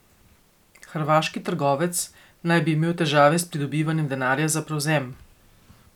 Hrvaški trgovec naj bi imel težave s pridobivanjem denarja za prevzem.